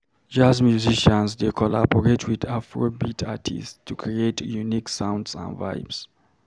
Jazz musicians dey collaborate with Afrobeat artists to create unique sounds and vibes.